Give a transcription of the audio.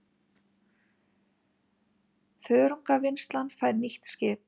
Þörungavinnslan fær nýtt skip